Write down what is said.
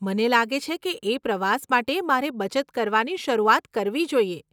મને લાગે છે કે એ પ્રવાસ માટે મારે બચત કરવાની શરૂઆત કરવી જોઈએ.